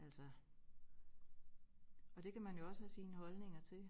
Altså og det kan man jo også have sine holdninger til